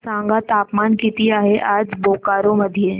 सांगा तापमान किती आहे आज बोकारो मध्ये